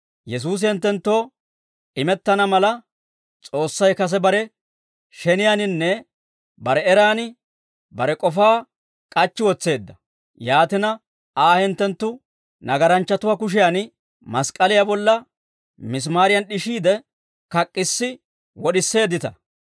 Yesuusi hinttenttoo imettana mala, S'oossay kase bare sheniyaaninne bare eraan bare k'ofaa k'achchi wotseedda; yaatina, Aa hinttenttu nagaranchchatuwaa kushiyan mask'k'aliyaa bolla misimaariyan d'ishissiide, kak'issi wod'iseeddita.